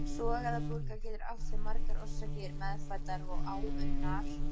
Sogæðabólga getur átt sér margar orsakir, meðfæddar og áunnar.